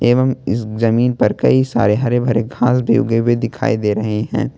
और इस जमीन पर कई सारे हरे भरे घास भी उगे हुए दिखाई दे रहे हैं।